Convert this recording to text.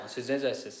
Sağ olun, siz necəsiz?